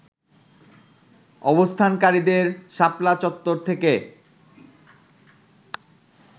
অবস্থানকারীদের শাপলা চত্বর থেকে